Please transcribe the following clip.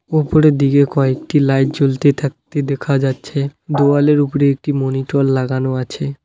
ওপরের দিকে কয়েকটি লাইট জ্বলতে থাকতে দেখা যাচ্ছে দেওয়ালের উপরে একটি মনিটর লাগানো আছে।